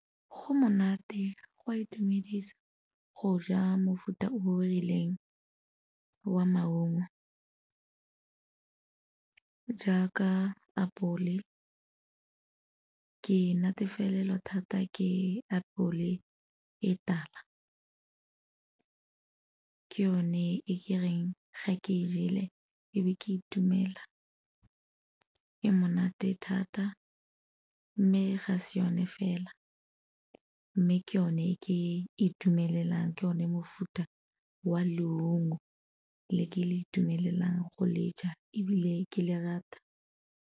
Go monate, go a itumedisa go ja mofuta o o rileng wa maungo, jaaka apole. Ke natefelelwa thata ke apole e tala, ke yone e ke reng ga ke e jele e be ke itumela, e monate thata mme ga se yone fela mme ke yone e ke itumelelang, ke yone mofuta wa leungo le ke le itumelelang go le ja ebile ke le rata.